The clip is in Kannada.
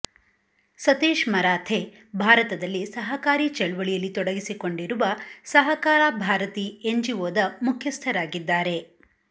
ಸತೀಶ್ ಮರಾಥೆ ಭಾರತದಲ್ಲಿ ಸಹಕಾರಿ ಚಳವಳಿಯಲ್ಲಿ ತೊಡಗಿಸಿಕೊಂಡಿರುವ ಸಹಕಾರ ಭಾರತಿ ಎನ್ಜಿಓದ ಮುಖ್ಯಸ್ಥರಾಗಿದ್ದಾರೆ